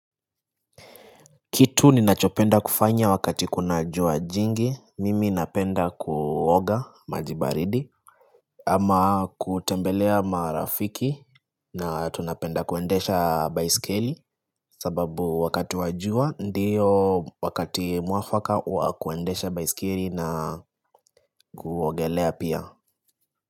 Kitu ni nachopenda kufanya wakati kuna jua jingi, mimi napenda kuoga maji baridi ama kutembelea marafiki na tunapenda kuendesha baiskeli sababu wakati wa jua ndio wakati mwafaka wa kuendesha baiskeli na kuogelea pia.